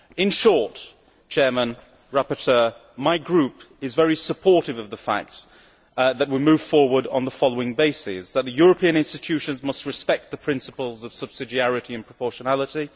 In short, my group is very supportive of the fact that we move forward on the following bases the European Institutions must respect the principles of subsidiarity and proportionality